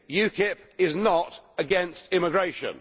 UKIP is not against immigration.